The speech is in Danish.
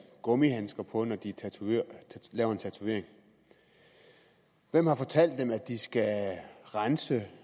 gummihandsker på når de laver en tatovering hvem har fortalt dem at de skal rense